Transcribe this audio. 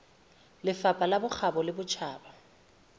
lefapha la bokgabo le botjhaba